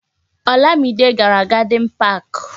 Olamide gàrà na Gadin Pak